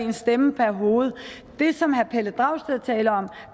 en stemme per hoved det som herre pelle dragsted taler om